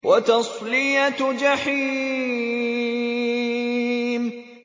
وَتَصْلِيَةُ جَحِيمٍ